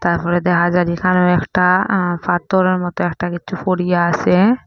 তারপর দেখা যায় এখানেও একটা অ্যা ফাথরের মত একটা কিছু ফড়িয়া আসে।